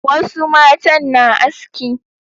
Wasu matan na aski.